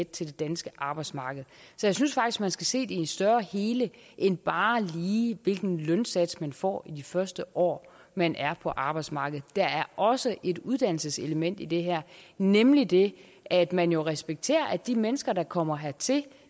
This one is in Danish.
til det danske arbejdsmarked så jeg synes faktisk at man skal se det i et større hele end bare lige hvilken lønsats man får i de første år man er på arbejdsmarkedet der er også et uddannelseselement i det her nemlig det at man jo respekterer at de mennesker der kommer hertil